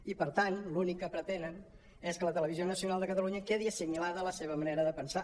i per tant l’únic que pretenen és que la televisió nacional de catalunya quedi assimilada a la seva manera de pensar